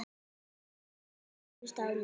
Sjö lík komust á land.